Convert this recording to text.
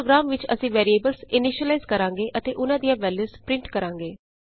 ਇਸ ਪੋ੍ਰਗਰਾਮ ਵਿਚ ਅਸੀਂ ਵੈਰੀਐਬਲਸ ਇਨੀਸ਼ਿਲਾਈਜ਼ ਕਰਾਂਗੇ ਅਤੇ ਉਹਨਾਂ ਦੀਆਂ ਵੈਲਯੂਸ ਪਰਿੰਟ ਕਰਾਂਗੇ